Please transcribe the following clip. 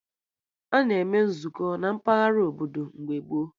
Ana eme Nzukọ na mpaghara obodo mgbe gboo